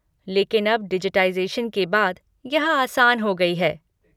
लेकिन अब डिजिटाइज़ेशन के बाद, यह आसान हो गई है।